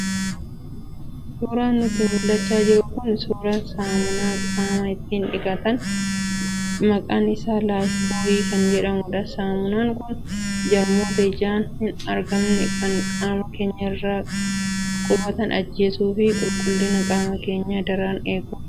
Suuraan nutti mul'achaa jiru kun suuraa saamunaa qaama ittiin dhiqatan maqaan isaa 'life boy' kan jedhamudha. Saamunaan kun jarmoota ijaan hin argamne kan qaama keenya irra qubatan ajjeesuu fi qulqullina qaama keenyaa daran eeguuf nu gargaara.